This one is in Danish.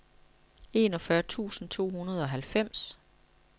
enogfyrre tusind to hundrede og halvfems